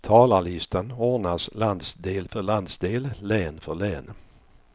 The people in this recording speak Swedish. Talarlistan ordnas landsdel för landsdel, län för län.